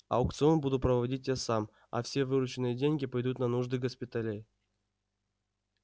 аукцион буду проводить я сам а все вырученные деньги пойдут на нужды госпиталей